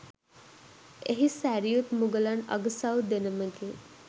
එහි සැරියුත් මුගලන් අගසව් දෙනමගේ